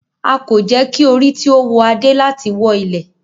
A ko jẹ ki ori ti o wọ ade lati wọ ilẹ.